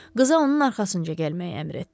Qıza onun arxasınca gəlməyi əmr etdi.